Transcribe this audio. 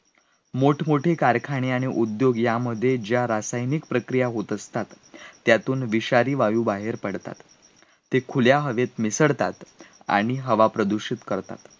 मोठ मोठे कारखाने आणि उद्योग यामध्ये ज्या रासायनिक प्रक्रिया होत असतात, त्यातून विषारी वायू बाहेर पडतात, ते खुल्या हवेत मिसळतात आणि हवा प्रदूषित करतात